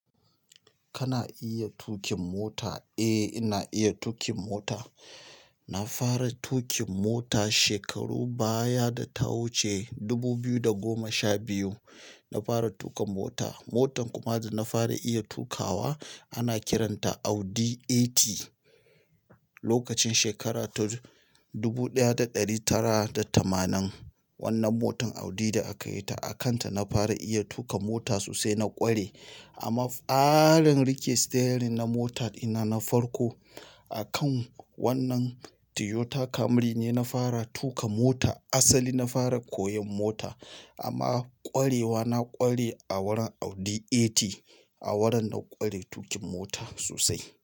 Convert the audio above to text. Kana iya tuƙin mota? Eh, ina iya tuƙin mota. Na fara tuƙin mota shekarun baya data wuce 2012. Na fara tuƙa mota. Motan kuma da na fara iya tuƙawa ana kiranta Audi 80. Lokacin shekara ta 1980. Wannan motan Audi da aka yi ta a kanta na fara iya tuƙa mota sosai na ƙware. Amma farin rike steering na mota dina na farko akan wannan Toyota Camry ne na fara tuƙa mota. Asali na fara koyon mota amma ƙwarewa na ƙware a wurin Audi 80. A wurin na ƙware tuƙin mota sosai.